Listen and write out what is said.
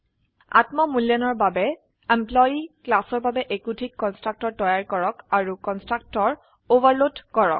আত্ম মূল্যায়নৰ বাবে এমপ্লয়ী ক্লাসৰ বাবে একোধিক কন্সট্ৰাকটৰ তৈয়াৰ কৰক আৰু কন্সট্ৰাকটৰ ওভাৰলোড কৰক